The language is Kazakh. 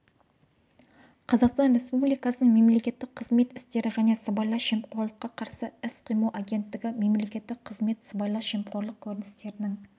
қазақстан республикасының мемлекеттік қызмет істері және сыбайлас жемқорлыққа қарсы іс-қимыл агенттігі мемлекеттік қызмет сыбайлас жемқорлық көріністерінің